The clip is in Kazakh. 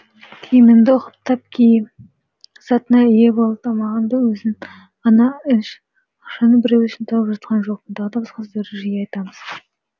киіміңді ұқыптап ки затыңа ие бол тамағыңды өзің ғана іш ақшаны біреу үшін тауып жатқан жоқпын тағы да басқа сөздерді жиі айтамыз